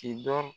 Ki dɔ